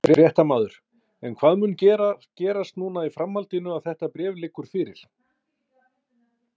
Fréttamaður: En hvað mun gerast núna í framhaldinu að þetta bréf liggur fyrir?